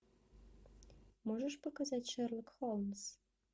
можешь показать шерлок холмс